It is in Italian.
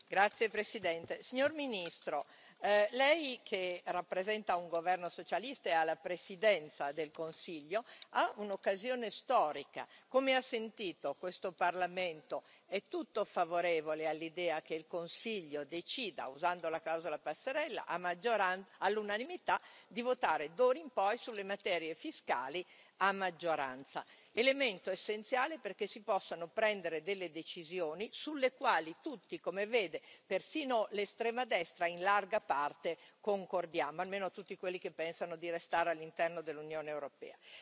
Signor Presidente, onorevoli colleghi, signor Ministro, lei che rappresenta un governo socialista ed è alla Presidenza del Consiglio ha un'occasione storica. Come ha sentito, questo Parlamento è tutto favorevole all'idea che il Consiglio decida, usando la clausola passerella all'unanimità di votare d'ora in poi sulle materie fiscali a maggioranza, elemento essenziale perché si possano prendere delle decisioni sulle quali tutti, come vede, persino l'estrema destra, in larga parte concordiamo, almeno tutti quelli che pensano di restare all'interno dell'Unione europea.